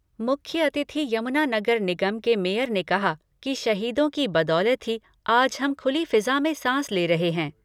मुख्य अतिथि यमुना नगर निगम के मेयर ने कहा कि शहीदों की बदौलत ही आज हम खुली फिज़ा में सांस ले रहे हैं।